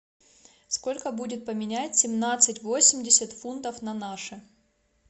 сколько будет поменять семнадцать восемьдесят фунтов на наши